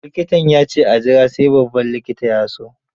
Likitan ya ce a jira sai babban likita ya so.